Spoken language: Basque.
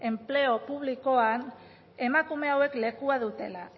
enpleo publikoan emakume hauek lekua dutela